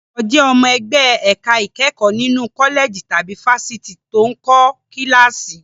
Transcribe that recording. Olùkọ́ jẹ́ ọmọ ẹgbẹ́ ẹ̀ka ìkẹ́kọ̀ọ́ nínú kọ́lẹ̀jì tàbí fáfitì tó ń kọ́ kíláàsì.